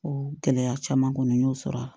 O gɛlɛya caman kɔni n y'o sɔrɔ a la